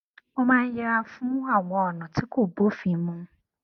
mo máa ń yẹra fún àwọn ònà tí kò bófin mu